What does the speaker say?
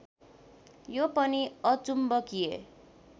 यो पनि अचुम्बकिय